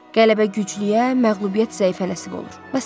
Qələbə güclüyə, məğlubiyyət zəifə nəsib olur.